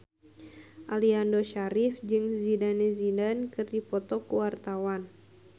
Aliando Syarif jeung Zidane Zidane keur dipoto ku wartawan